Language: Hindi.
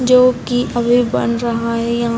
जो की अभी बन रहा है यां --